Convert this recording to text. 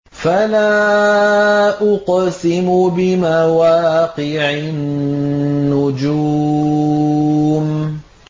۞ فَلَا أُقْسِمُ بِمَوَاقِعِ النُّجُومِ